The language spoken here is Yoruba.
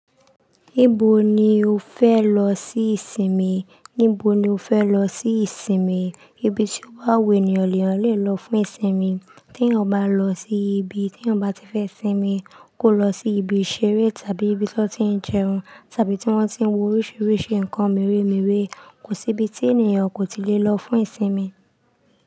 Níbo ni o fẹ lọ sí ìsinmi? Níbo ni o fẹ lọ sí ìsinmi? Ibi tí ó ba wu eniyan l'eyan lọ fún ìsinmi. Tí eeyan bá lọ sí ibi t'eyan bá ti fẹ sinmi, kó lọ sí ibi ìṣeré tàbí ibi tí wọn ti ń jẹun tàbí tí wọ́n ti ń wo oríṣiríṣi nǹkan meremere Kò sí ibi tí ènìyàn kò ti lè lọ fún ìsinmi.